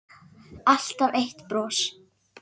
Alltaf eitt bros.